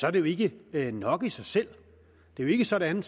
er det jo ikke ikke nok i sig selv det er jo ikke sådan